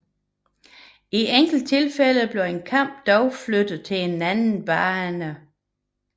I enkelte tilfælde blev en kamp dog flyttet til en anden bane